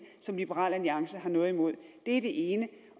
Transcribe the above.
som liberal alliance har noget imod det er det ene